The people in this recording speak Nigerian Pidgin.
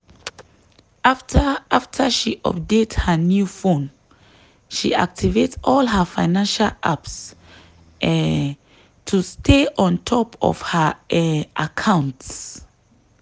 after after she update her new phone she activate all her financial apps um to stay on top of her um accounts.